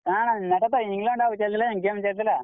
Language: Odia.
କାଣା ହେନ୍ତାଟା ତ England ଆଉ ଚାଲିଥିଲା game ଚାଲିଥିଲା।